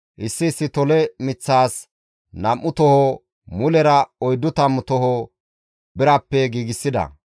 Issi issi tole miththas nam7u toho, mulera oyddu tammu toho birappe giigsida.